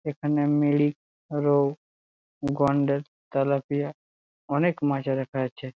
এখানে মেরি রৌ তেলাপিয়া অনেক মাছ রাখা আছে ।